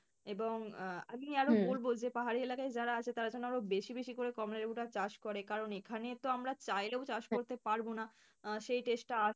এবং আহ আমি বলবো যে পাহাড়ি এলাকায় যারা আছে তারা যেন আরো বেশি বেশি করে কমলালেবুটা চাষ করে কারণ এখানে তো আমরা চাইলেও চাষ করতে পারবো না সেই taste টা